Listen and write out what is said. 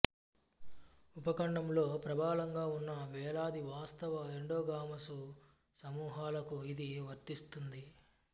ఉపఖండంలో ప్రబలంగా ఉన్న వేలాది వాస్తవ ఎండోగామసు సమూహాలకు ఇది వర్తిస్తుంది